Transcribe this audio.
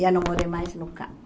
Já não morei mais no campo.